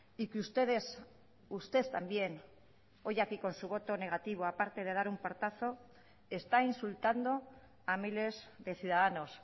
y que ustedes usted también hoy aquí con su voto negativo aparte de dar un portazo está insultando a miles de ciudadanos